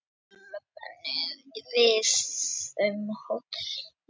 Svo löbbuðu við um hótelið og hvern haldið þið að við hafi hitt?